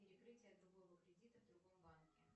перекрытие другого кредита в другом банке